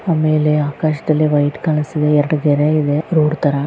ಆಮೇಲೆ ಆಕಾಶದಲ್ಲಿ ವೈಟ್ ಕಾಣಸ್ತಿದೆ ಎರಡ ಗೆರೆ ಇದೆ ರೋಡ್ ತರ --